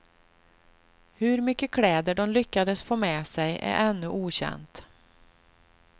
Hur mycket kläder de lyckades få med sig är ännu okänt.